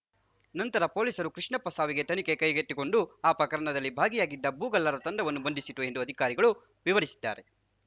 ನಂತರ ಪೊಲೀಸರು ಕೃಷ್ಣಪ್ಪ ಸಾವಿನ ತನಿಖೆ ಕೈಗೆತ್ತಿಕೊಂಡು ಆ ಪ್ರಕರಣದಲ್ಲಿ ಭಾಗಿಯಾಗಿದ್ದ ಭೂಗಳ್ಳರ ತಂಡವನ್ನು ಬಂಧಿಸಿತು ಎಂದು ಅಧಿಕಾರಿಗಳು ವಿವರಿಸಿದ್ದಾರೆ